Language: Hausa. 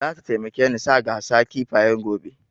Zata taimake ni sa gasa kifayen gobe